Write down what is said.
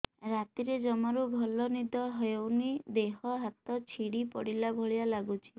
ରାତିରେ ଜମାରୁ ଭଲ ନିଦ ହଉନି ଦେହ ହାତ ଛିଡି ପଡିଲା ଭଳିଆ ଲାଗୁଚି